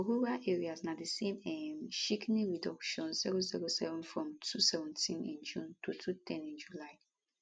for rural areas na di same um shikini reduction 007 from 217 in june to 210 in july